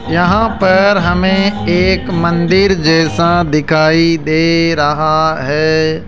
यहाँ पर हमें एक मंदिर जैसा दिखाई दे रहा है।